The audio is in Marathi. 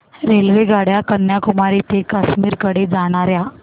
रेल्वेगाड्या कन्याकुमारी ते काश्मीर कडे जाणाऱ्या